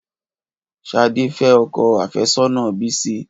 Ṣhadé fẹ́ ọkọ àfẹ́sọ́nà Bisi